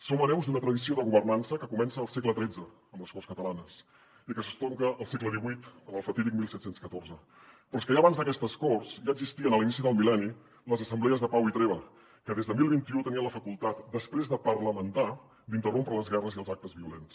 som hereus d’una tradició de governança que comença al segle xiii amb les corts catalanes i que s’estronca al segle xviiiabans d’aquestes corts ja existien a l’inici del mil·lenni les assemblees de pau i treva que des de deu vint u tenien la facultat després de parlamentar d’interrompre les guerres i els actes violents